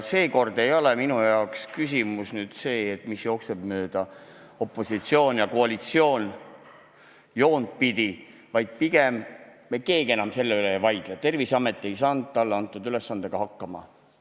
Seekord ei ole minu jaoks küsimus selline, mis jookseks opositsiooni ja koalitsiooni vahelist joont pidi, vaid pigem selline, mille üle me keegi enam ei vaidle – Terviseamet ei saanud talle antud ülesandega hakkama.